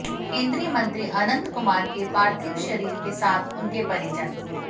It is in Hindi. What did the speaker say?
केंद्रीय मंत्री अनंत कुमार के पार्थिव शरीर के साथ उनके परिजन